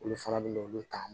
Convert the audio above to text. Olu fana bɛ na olu ta